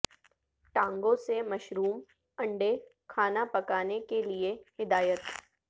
ٹانگوں سے مشروم انڈے کھانا پکانے کے لئے ہدایت